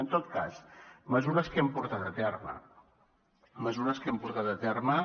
en tot cas mesures que hem portat a terme mesures que hem portat a terme